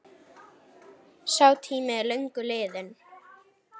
Sá tími er löngu liðinn.